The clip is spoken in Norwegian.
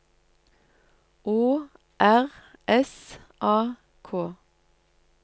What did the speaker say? Å R S A K